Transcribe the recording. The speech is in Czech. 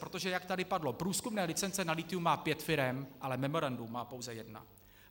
Protože jak tady padlo: průzkumné licence na lithium má pět firem, ale memorandum má pouze jedna.